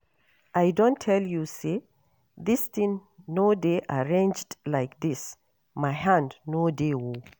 I don tell you say dis thing no dey arranged like dis, my hand no dey oo